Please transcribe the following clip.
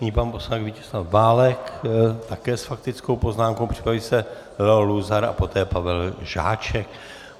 Nyní pan poslanec Vítězslav Válek také s faktickou poznámkou, připraví se Leo Luzar a poté Pavel Žáček.